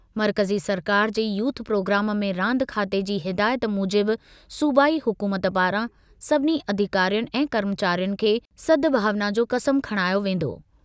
मर्कज़ी सरकार जे यूथ प्रोग्राम में रांदि खाते जी हिदायत मूजिबि सूबाई हुकूमत पारां सभिनी अधिकारियुनि ऐं कर्मचारियुनि खे सद्भावना जो क़सम खणायो वेंदो।